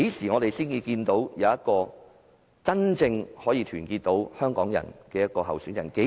我們何時才會有一個真正能夠團結香港人的候選人？